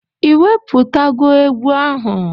Ị wepụtago egwu ahụ?